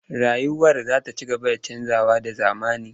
Rayuwar za ta ci gaba da canjawa da zamani.